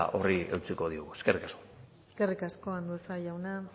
horri eutsiko diogu eskerrik asko eskerrik asko andueza jauna